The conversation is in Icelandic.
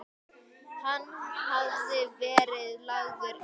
Hann hafði verið lagður inn.